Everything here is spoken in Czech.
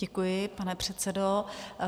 Děkuji, pane předsedo.